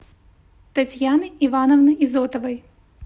татьяны ивановны изотовой